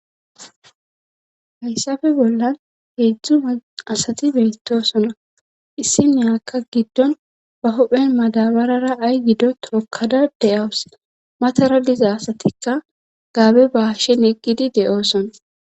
Hayssafe bollan heedzdzu asati beetosona issi ne akka giddon ba hophen madabarara ay gido tokada deyawus matara diza asatikka gaabe ba hashen eqkidi de'oosona.